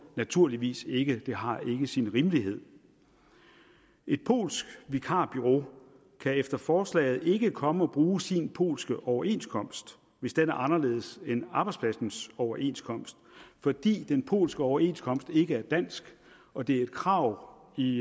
naturligvis ikke for det har ikke sin rimelighed et polsk vikarbureau kan efter forslaget ikke komme og bruge sin polske overenskomst hvis den er anderledes end arbejdspladsens overenskomst fordi den polske overenskomst ikke er dansk og det er et krav i